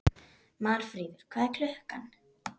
Marfríður, hvað er klukkan?